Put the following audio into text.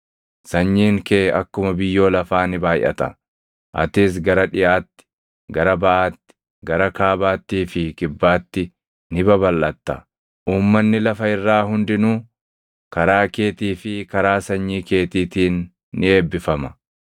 Sanyiin kee akkuma biyyoo lafaa ni baayʼata; atis gara dhiʼaatti, gara baʼaatti, gara kaabaattii fi kibbaatti ni babalʼatta. Uummanni lafa irraa hundinuu karaa keetii fi karaa sanyii keetiitiin ni eebbifama.